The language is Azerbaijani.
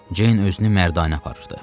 Ceyn özünü mərdanə aparırdı.